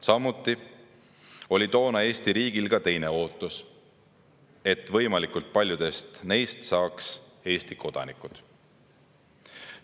Samuti oli toona Eesti riigil ka teine ootus: et võimalikult paljudest neist saaksid Eesti kodanikud.